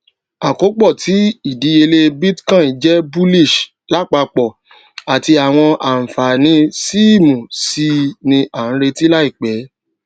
àkopọ tí idiyele bitcoin jẹ bullish lapapọ ati awọn anfani síìmù sii ni a nireti laipẹ